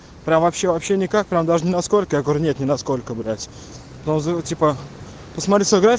прям вообще вообще никак нам даже насколько я говорю нет не насколько гулять но типа